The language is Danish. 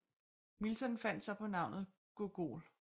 Milton fandt så på navnet googol